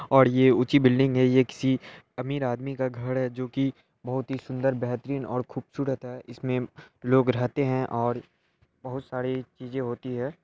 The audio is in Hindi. और ये उची बिल्डिंग है यह किसी अमीर आदमी का घड है जो की बहुत ही सुंदर और बेहतरीन और खूबसूरत है इसमे लोग रहते है और बहुत सारी चीज़े होती हैं।